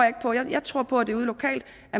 ikke på jeg tror på at det er ude lokalt